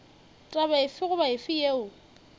taba efe goba efe yeo